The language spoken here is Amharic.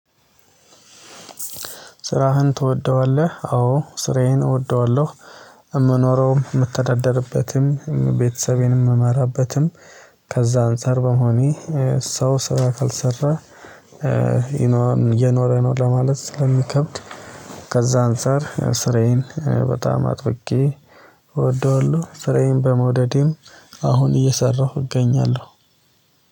ስራህን ትወደዋለህ? አዎ ስራዬን እወደዋለሁ የምኖረውም የምተዳደርበትም ቤተሰቤንም የምመራበትም ከዛ አንፃር በመሆኔ ሰው ስራ ካልሰራ እየኖረ ነው ለማለት ስለሚከብድ ከዛ አንፃር ስራዬን በጣም አጥብቄ እወደዋለሁ። ስራዬን በመውደዴም አሁን እየሰራሁ እገኛለሁ።